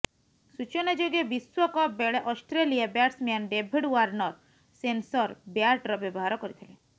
ସୂଚନାଯୋଗ୍ୟ ବିଶ୍ୱକପ୍ ବେଳେ Australia batsman David Warner sensor ବ୍ୟାଟ୍ର ବ୍ୟବହାର କରିଥିଲେ